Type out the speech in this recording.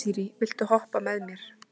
Asírí, viltu hoppa með mér?